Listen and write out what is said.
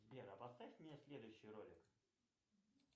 сбер а поставь мне следующий ролик